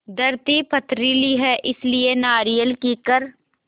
धरती पथरीली है इसलिए नारियल कीकर